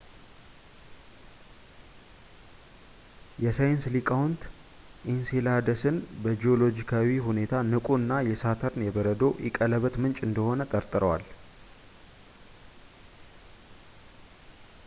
የሳይንስ ሊቃውንት ኢንሴላደስን በጂኦሎጂካዊ ሁኔታ ንቁ እና የሳተርን የበረዶ ኢ ቀለበት ምንጭ እንደሆነ ጠርጥረዋል